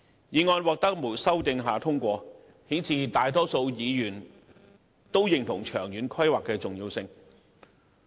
議案在無經修訂下通過，顯示大多數議員認同長遠規劃的重要性。